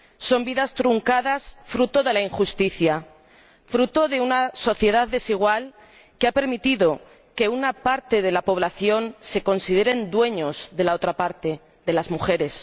Son vidas truncadas, fruto de la injusticia, fruto de una sociedad desigual que ha permitido que una parte de la población se consideren dueños de la otra parte de las mujeres.